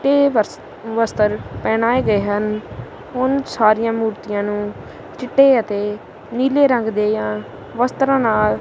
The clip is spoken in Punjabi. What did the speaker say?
ਤੇ ਵਸ ਵਸਤਰ ਪਹਿਨਾਏ ਗਏ ਹਨ ਹੁਣ ਸਾਰਿਆਂ ਮੂਰਤੀਆਂ ਨੂੰ ਚਿੱਟੇ ਅਤੇ ਨੀਲੇ ਰੰਗ ਦੇਆਂ ਵਸਤਰਾਂ ਨਾਲ--